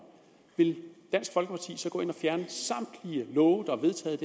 vil dansk folkeparti så gå ind og fjerne samtlige love der er vedtaget